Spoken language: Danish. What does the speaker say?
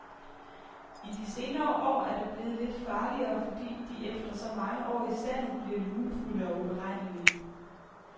I de senere år er det blevet lidt farligere, fordi de efter så mange år i sandet bliver lunefulde og uberegnelige.